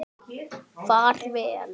Far vel.